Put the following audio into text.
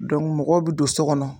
mɔgɔw be don sɔ kɔnɔ